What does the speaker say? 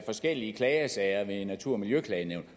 forskellige klagesager ved natur og miljøklagenævnet